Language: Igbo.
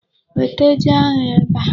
Weta ji ahụ ebe a.